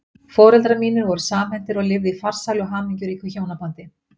Foreldrar mínir voru samhentir og lifðu í farsælu og hamingjuríku hjónabandi.